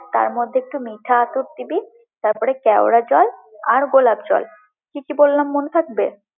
তারমধ্যে একটু মিথ্যা আতর দিবি, তারপরে কেওড়ার জল, আর গোলাপ জল, কি কি বললাম মনে থাকবে?